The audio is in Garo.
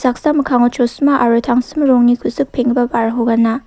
mikkango chosima aro tangsim rongni ku·sik peng·gipa ba·rako gana.